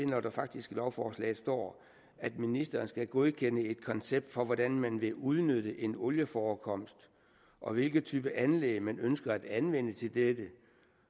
når der faktisk i lovforslaget står at ministeren skal godkende et koncept for hvordan man vil udnytte en olieforekomst og hvilken type anlæg man ønsker at anvende til dette